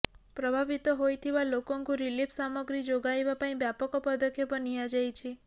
ପ୍ରଭାବିତ ହୋଇଥିବା ଲୋକଙ୍କୁ ରିଲିଫ ସାମଗ୍ରୀ ଯୋଗାଇବା ପାଇଁ ବ୍ୟାପକ ପଦକ୍ଷେପ ନିଆଯାଇଛି